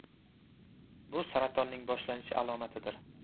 Bu saratonning boshlanishi alomatidir.